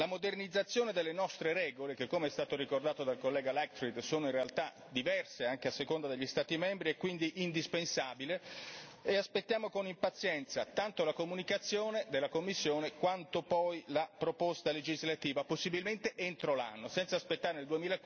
La modernizzazione delle nostre regole, che come è stato ricordato dal collega Leichtfried sono in realtà diverse anche a seconda degli Stati membri, è quindi indispensabile e aspettiamo con impazienza tanto la comunicazione della Commissione quanto poi la proposta legislativa, possibilmente entro l'anno senza aspettare il